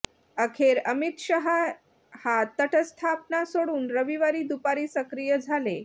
अखेर अमित शहा हा तटस्थपणा सोडून रविवारी दुपारी सक्रिय झाले